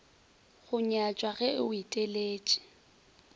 go nyatšwa ge o eteletše